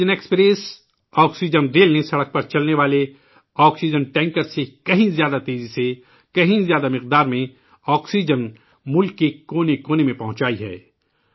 oxygen express, oxygen rail نے سڑک پر چلنے والے آکسیجن ٹینکر سے کہیں زیادہ تیزی سے ، کہیں زیادہ مقدار میں آکسیجن ملک کے کونے کونے میں پہنچائی ہے